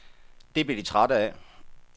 Det blev de trætte af.